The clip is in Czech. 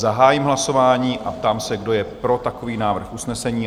Zahájím hlasování a ptám se, kdo je pro takový návrh usnesení?